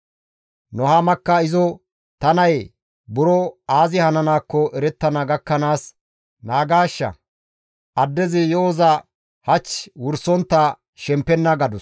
Nuhaamakka izo, «Ta nayee, buro aazi hananaakko erettana gakkanaas naagaashsha; addezi yo7oza hach wursontta shempenna» gadus.